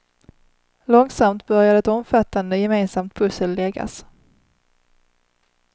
Långsamt började ett omfattande, gemensamt pussel läggas.